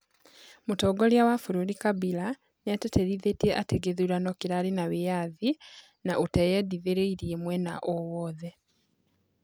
Mũtongoria wa bũrũri Kabila nĩatĩtĩrithĩtie atĩ gĩthurano kĩrarĩ na wĩyathi na ũteyendithĩrĩrie mwena owothe